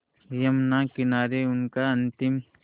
यमुना किनारे उनका अंतिम